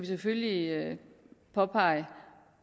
selvfølgelig påpege